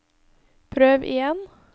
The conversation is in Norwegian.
prøv igjen